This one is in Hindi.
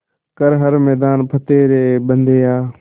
कर हर मैदान फ़तेह रे बंदेया